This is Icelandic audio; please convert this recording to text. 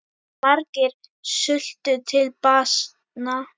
Margir sultu til bana.